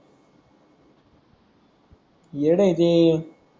येड आहे ते